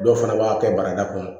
Dɔw fana b'a kɛ barada kɔnɔ